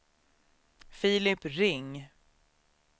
Filip Ring